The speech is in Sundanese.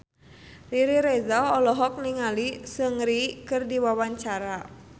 Riri Reza olohok ningali Seungri keur diwawancara